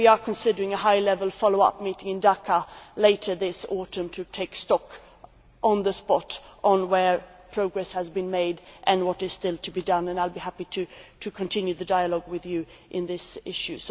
We are also considering a high level follow up meeting in Dhaka later this autumn to take stock, on the spot, of where progress has been made and what is still to be done, and I will be happy to continue the dialogue with this House on this issue.